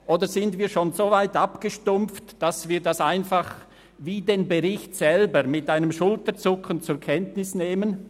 Oder sind wir schon so weit abgestumpft, dass wir das einfach wie den Bericht selber mit einem Schulterzucken zur Kenntnis nehmen?